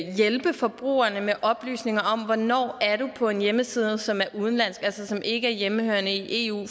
hjælpe forbrugerne med oplysninger om hvornår man er på en hjemmeside som er udenlandsk altså som ikke er hjemmehørende i eu